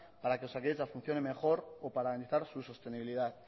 para que osakidetza funcione mejor o para avanzar su sostenibilidad